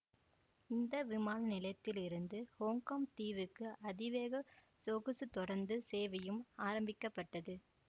இந்த விமான நிலையத்தில் இருந்து ஹொங்கொங் தீவுக்கு அதிவேக சொகுசுத் தொடந்து சேவையும் ஆரம்பிக்க பட்டது